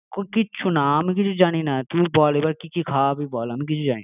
কিচ্ছু না আমি কিছু জানি না, তুই বল এবার কি কি খাওয়াবি বল? আমরা তো